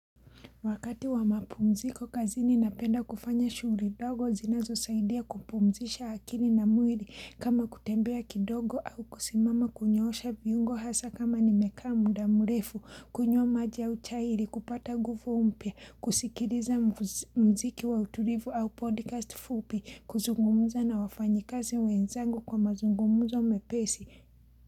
Wakati wa mapumziko kazi ni napenda kufanya shughuli dogo zinazo saidia kupumzisha akili na mwiri kama kutembea kidogo au kusimama kunyosha viungo hasa kama nimeka mu da mrefu, kunywa maji au chai, kupata nguvu mpya, kusikiriza muziki wa utulivu au podcast fupi, kuzungumuza na wafanyikazi wenzangu kwa mazungumuza mepesi.